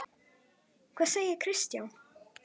Hvað segir Kristján?